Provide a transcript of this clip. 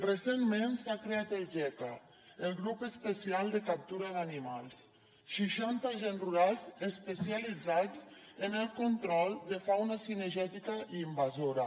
recentment s’ha creat el geca el grup especial de captura d’animals seixanta agents rurals especialitzats en el control de fauna cinegètica i invasora